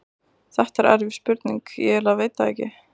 Þetta er erfið spurning, ég eiginlega veit það ekki.